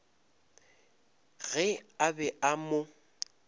ge a be a mo